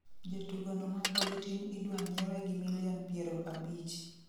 Jatugo no mapod tin idwa nyiewe gi milion piero abich